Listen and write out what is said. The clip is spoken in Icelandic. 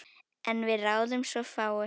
En við ráðum svo fáu.